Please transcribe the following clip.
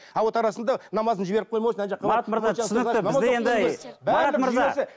а вот арасында намазын жіберіп